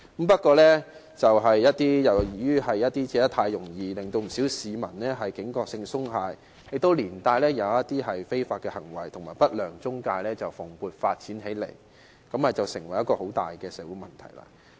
不過，由於借貸太容易，令不少市民的警覺性鬆懈，而一些違法行為及不良中介蓬勃發展起來，成為一個很大的社會問題。